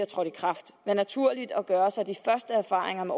trådt i kraft være naturligt netop gør os de første erfaringer med